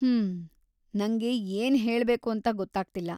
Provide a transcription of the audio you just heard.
ಹ್ಮ್, ನಂಗೆ ಏನ್‌ ಹೇಳ್ಬೇಕು ಅಂತ ಗೊತ್ತಾಗ್ತಿಲ್ಲ.